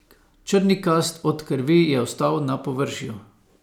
Črnikast od krvi je ostal na površju.